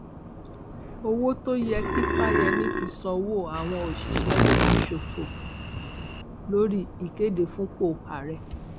owó tó yẹ kí fáyẹmì fi sanwó àwọn òṣìṣẹ ló fi ṣòfò lórí ìkéde fúnpọ ààrẹ